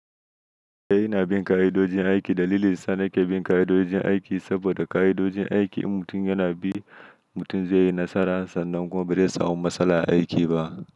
Eh ina bin ka'idojin aiki. Dalilin sa na ke bin ka'idojin aiki saboda ka'idojin aiki in mutum yana bi mutum zai yi nasara sannan kuma barai samu matsala a aiki ba.